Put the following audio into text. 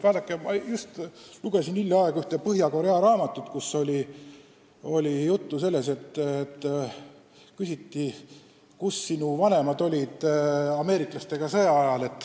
Vaadake, ma lugesin hiljaaegu ühte raamatut Põhja-Koreast, kus inimeselt küsiti, kus olid sinu vanemad ameeriklastega peetud sõja ajal.